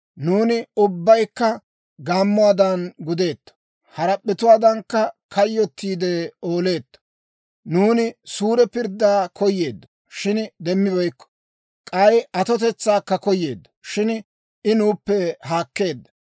Nuuni ubbaykka gaammuwaadan gudeeto; harap'p'etuwaadankka kayyottiidde ooleetto. Nuuni suure pirddaa koyeeddo; shin demmibeykko. K'ay atotetsaakka koyeeddo; shin I nuuppe haakkeedda.